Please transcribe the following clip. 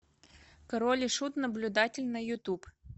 король и шут наблюдатель на ютуб